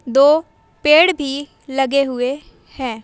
दो पेड़ भी लगे हुए है।